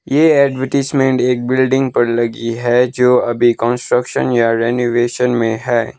ये एडवरटाइजमेंट एक बिल्डिंग पर लगी है जो अभी कंस्ट्रक्शन या ती रेनोवेशन मे है।